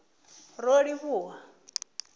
rolivhuwa